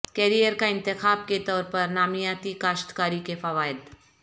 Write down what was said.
career کا انتخاب کے طور پر نامیاتی کاشتکاری کے فوائد